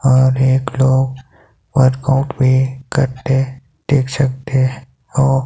और एक लोग वर्कआउट भी करते देख सकते हो।